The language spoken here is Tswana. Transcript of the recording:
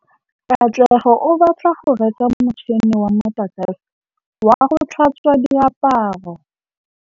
Katlego o batla go reka motšhine wa motlakase wa go tlhatswa diaparo.